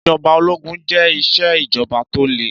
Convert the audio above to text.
Ìjọba òlógún jẹ ìṣe ìjọbà tọ lè.